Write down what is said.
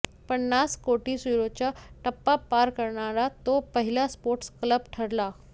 पन्नास कोटी युरोचा टप्पा पार करणारा तो पहिला स्पोर्ट्स क्लब ठरला